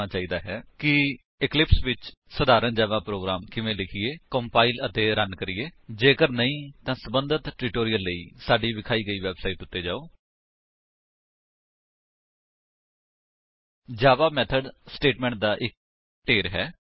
HTTP ਡਬਲਯੂਡਬਲਯੂਡਬਲਯੂਡਬਲਯੂਡਬਲਯੂਡਬਲਯੂਡਬਲਯੂਡਬਲਯੂਡਬਲਯੂਡਬਲਯੂਡਬਲਯੂਡਬਲਯੂਡਬਲਯੂਡਬਲਯੂਡਬਲਯੂਡਬਲਯੂਡਬਲਯੂਡਬਲਯੂਡਬਲਯੂਡਬਲਯੂਡਬਲਯੂਡਬਲਯੂਡਬਲਯੂਡਬਲਯੂਡਬਲਯੂਡਬਲਯੂਡਬਲਯੂਡਬਲਯੂਡਬਲਯੂਡਬਲਯੂਡਬਲਯੂਡਬਲਯੂਡਬਲਯੂਡਬਲਯੂਡਬਲਯੂਡਬਲਯੂਡਬਲਯੂਡਬਲਯੂਡਬਲਯੂਡਬਲਯੂ